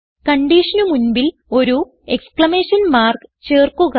കൺഡിഷന് മുൻപിൽ ഒരു exclamation mark ചേർക്കുക